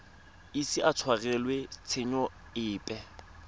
ise a tshwarelwe tshenyo epe